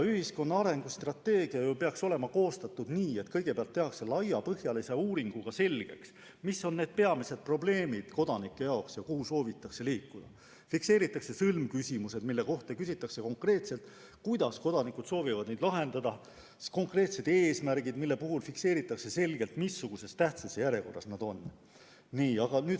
Ühiskonna arengustrateegia peaks olema ju koostatud nii, et kõigepealt tehakse laiapõhjalise uuringu tulemusena selgeks, mis on kodanike jaoks peamised probleemid ja kuhu soovitakse liikuda, fikseeritakse sõlmküsimused, mille kohta küsitakse konkreetselt, kuidas kodanikud sooviksid neid lahendada, seatakse konkreetsed eesmärgid, mille puhul fikseeritakse selgelt, missugune on nende tähtsuse järjekord.